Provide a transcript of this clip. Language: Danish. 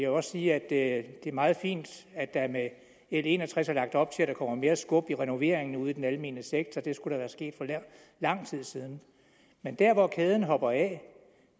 også sige at det er meget fint at der med l en og tres er lagt op til at der kommer mere skub i renoveringer ude i den almene sektor det skulle være sket for lang tid siden men der hvor kæden hopper af